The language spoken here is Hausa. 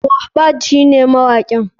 Mohbad shine mawakin.